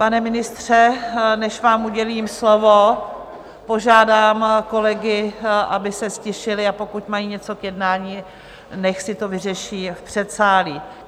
Pane ministře, než vám udělím slovo, požádám kolegy, aby se ztišili, a pokud mají něco k jednání, nechť si to vyřeší v předsálí.